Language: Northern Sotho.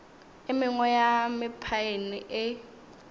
e mengwe ya mephaene e